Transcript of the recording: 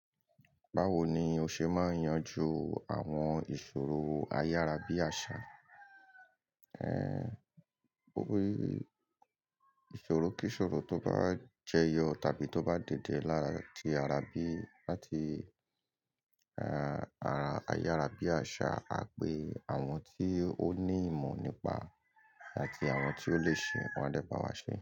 Báwo ni o ṣe máa yanjú àwọn ìṣòro ayárábíàṣá? Ẹ̀, ó ní ìṣòro kí ìṣòro tó bá jẹyọ tàbí tó bá dìde láti ará bí, láti, ẹ́, ará ayárábíàṣá, a pe àwọn tí ó ní ìmọ̀ nípa àti àwọn tí ó lè ṣe wọn dé bá wa ṣe.